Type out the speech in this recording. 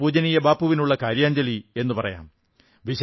ഇതാണ് പൂജനീയ ബാപ്പുവിനുള്ള കാര്യാഞ്ജലി എന്നു പറയാം